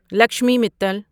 Lakshmi Mittal